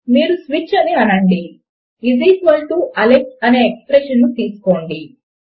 మీరు స్విచ్ అని అనండి ఈజ్ ఈక్వల్ టు అలెక్స్ అనే ఎక్స్ప్రెషన్ ను మీరు తీసుకోండి